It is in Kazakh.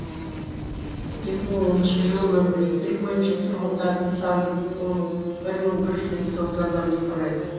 екі мың оныншы жылғы мәліметтер бойынша тұрғындарының саны он бір мың бір жүз елу тоғыз адамды құрайды